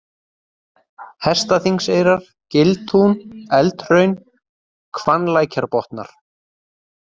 Hestaþingseyrar, Giltún, Eldhraun, Hvannlækjarbotnar